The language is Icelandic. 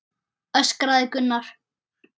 öskraði Gunnar.